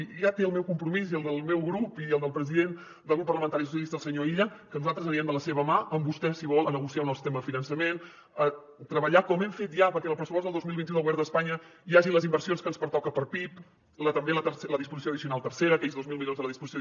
i ja té el meu compromís i el del meu grup i el del president del grup parlamentari socialistes el senyor illa que nosaltres anirem de la seva mà amb vostè si vol a negociar un nou sistema de finançament a treballar com ho hem fet ja perquè en el pressupost del dos mil vint u del govern d’espanya hi hagi les inversions que ens pertoca per pib també la disposició addicional tercera aquells dos mil milions de la disposició